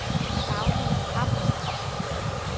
Dagny Pham